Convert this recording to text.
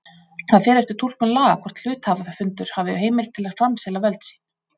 Það fer eftir túlkun laga hvort hluthafafundur hafi heimild til að framselja völd sín.